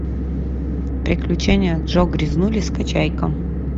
приключения джо грязнули скачай ка